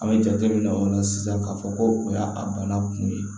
An bɛ jate minɛ o la sisan k'a fɔ ko o y'a a bana kun ye